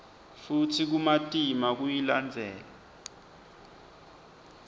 futsi kumatima kuyilandzela